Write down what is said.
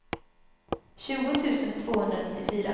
tjugo tusen tvåhundranittiofyra